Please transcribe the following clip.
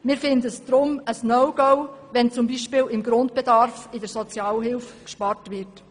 Deshalb ist es aus unserer Sicht ein No-Go, wenn zum Beispiel in der Sozialhilfe beim Grundbedarf gespart wird.